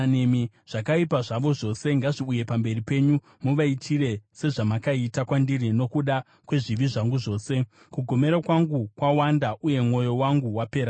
“Zvakaipa zvavo zvose ngazviuye pamberi penyu; muvaitire sezvamakaita kwandiri nokuda kwezvivi zvangu zvose. Kugomera kwangu kwawanda, uye mwoyo wangu wapera simba.”